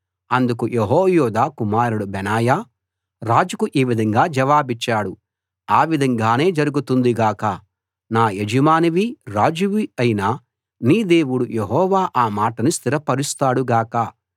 అందుకు యెహోయాదా కుమారుడు బెనాయా రాజుకు ఈ విధంగా జవాబిచ్చాడు ఆ విధంగానే జరుగుతుంది గాక నా యజమానివీ రాజువీ అయిన నీ దేవుడు యెహోవా ఆ మాటను స్థిరపరుస్తాడు గాక